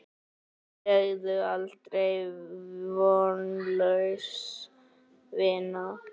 Segðu aldrei: Vonlaus vinna!